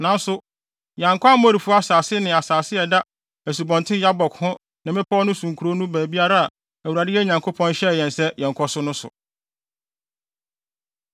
Nanso, yɛankɔ Amorifo asase ne asase a ɛda Asubɔnten Yabok ho ne mmepɔw no so nkurow no baabiara a Awurade yɛn Nyankopɔn hyɛɛ yɛn sɛ yɛnnkɔ so no so.